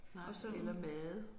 Nej eller meget